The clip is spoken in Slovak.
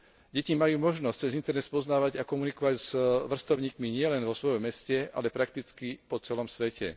Deti majú možnosť cez internet spoznávať a komunikovať s vrstovníkmi nielen vo svojom meste, ale prakticky po celom svete.